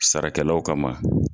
Sara kɛlaw kama.